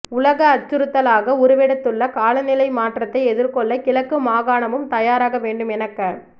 உலக அச்சுறுத்தலாக உருவெடுத்துள்ள காலநிலை மாற்றத்தை எதிர்கொள்ள கிழக்கு மாகாணமும் தயாராக வேண்டும் என க